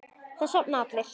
Það sofa allir.